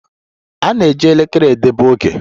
A na-eji elekere edebe oge.